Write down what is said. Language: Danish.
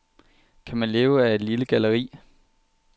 Kan man leve af et lille galleri?